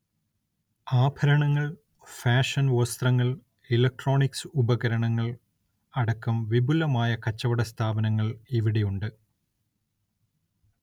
ആഭരണങ്ങൾ, ഫാഷൻ വസ്ത്രങ്ങൾ, ഇലക്ട്രോണിക്സ് ഉപകരണങ്ങൾ, അടക്കം വിപുലമായ കച്ചവട സ്ഥാപനങ്ങൾ ഇവിടെയുണ്ട്.